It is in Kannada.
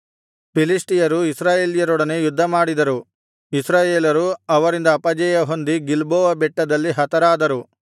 ಫಿಲಿಷ್ಟಿಯರು ಇಸ್ರಾಯೇಲರೊಡನೆ ಯುದ್ಧಮಾಡಿದರು ಇಸ್ರಾಯೇಲರು ಅವರಿಂದ ಅಪಜಯಹೊಂದಿ ಗಿಲ್ಬೋವ ಬೆಟ್ಟದಲ್ಲಿ ಹತರಾದರು